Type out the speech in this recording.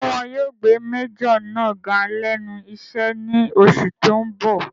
Ṣé wọn yóò gbé májọ̀ náà ga lẹ́nu iṣẹ́ ní oṣù tó n bọ̀?